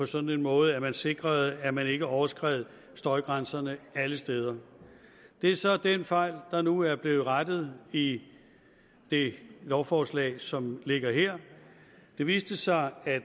sådan måde at man sikrede at man ikke overskred støjgrænserne alle steder det er så den fejl der nu er blevet rettet i det lovforslag som ligger her det viste sig at